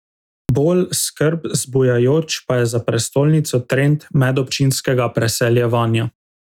Bolj skrb zbujajoč pa je za prestolnico trend medobčinskega preseljevanja.